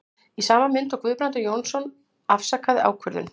Í sama mund og Guðbrandur Jónsson afsakaði ákvörðun